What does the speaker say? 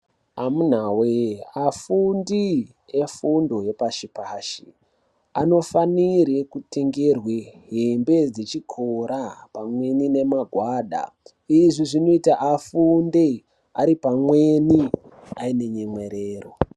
Amunawee, afundi efundo yepashi-pashi anofanire kutengerwe hembe dzechikora pamweni nemagwada. Izvi zvinoita afunde ari pamweni, aine nyemwerero.